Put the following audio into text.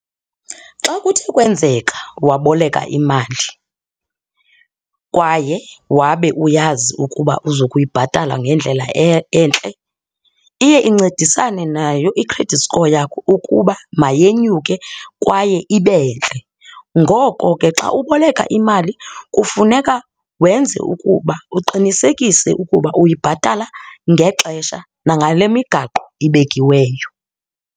Xa kuthe kwenzeka waboleka imali kwaye wabe uyazi ukuba uzokuyibhatala ngendlela entle iye incedisane nayo i-credit score yakho ukuba mayenyuke kwaye ibe ntle. Ngoko ke xa uboleka imali kufuneka wenze ukuba uqinisekise ukuba uyibhatala ngexesha nangale migaqo ibekiweyo.